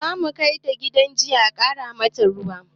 Zamu kai ta gidan jinya a ƙara mata ruwa